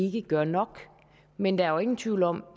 ikke gør nok men der er ingen tvivl om